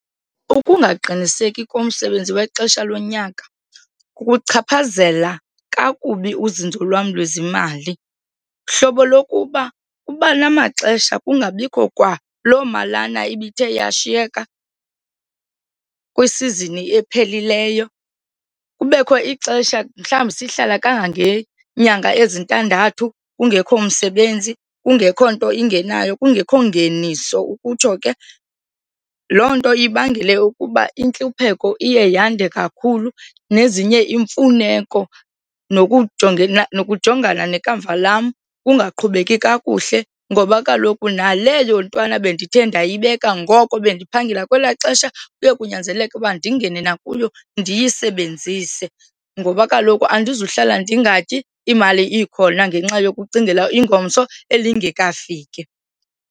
Ukungaqiniseki komsebenzi wexesha lonyaka kukuchaphazela kakubi uzinzo lwam lwezimali, hlobo lokuba kuba namaxesha kungabikho kwalo malana ibithe yashiyeka kwisizini ephelileyo. Kubekho ixesha mhlawumbi sihlala kangangeenyanga ezintandathu kungekho msebenzi kungekho nto ingenayo kungekho ngeniso ukutsho ke. Loo nto ibangele ukuba intlupheko iye yande kakhulu nezinye iimfuneko nokujongana nekamva lam kungaqhubeki kakuhle ngoba kaloku naleyo ntwana bendithe ndiyibeka ngoko bendiphangela kwelaa xesha, kuye kunyanzeleke ukuba ndingene nakuyo ndiyisebenzise ngoba kaloku andizuhlala ndingatyi imali ikhona ngenxa yokucingela ingomso elingekafiki.